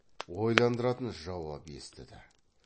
ойландыратын жауап естіді